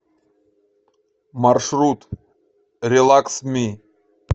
маршрут релакс ми